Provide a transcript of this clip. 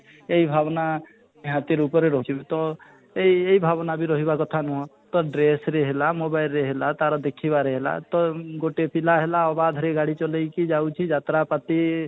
ଏଇ ଭାବନା ନିହାତି ରୂପରେ ରହୁଛି ତ ଏଇ ଏଇ ଭାବନା ବି ରହିବ କଥା ନୁହଁ ତ dress ରେ ହେଲା mobile ରେ ହେଲା ତା'ର ଦେଖିବାରେ ହେଲା ତ ଗୋଟେ ପିଲା ହେଲା ଅବାଧ୍ୟରେ ଗାଡି ଚଲେଇକି ଯାଉଛି ଯାତ୍ରା ପାତି